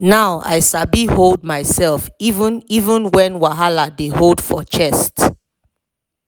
now i sabi hold myself even even when wahala dey boil for chest.